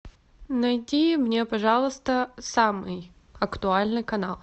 найди мне пожалуйста самый актуальный канал